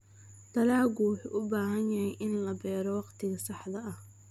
Dalaggu wuxuu u baahan yahay in la beero waqtiga saxda ah.